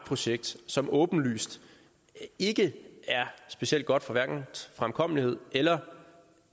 projekt som åbenlyst ikke er specielt godt for hverken fremkommelighed eller